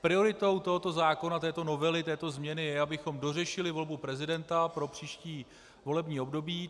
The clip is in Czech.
Prioritou tohoto zákona, této novely, této změny je, abychom dořešili volbu prezidenta pro příští volební období.